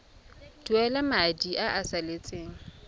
duela madi a a salatseng